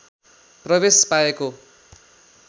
प्रवेश पाएको